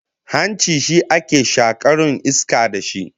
Hanci shi ake shakaru iska da shi